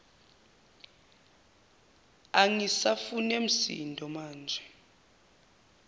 angisafune msindo maje